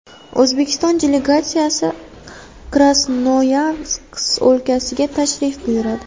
O‘zbekiston delegatsiyasi Krasnoyarsk o‘lkasiga tashrif buyuradi.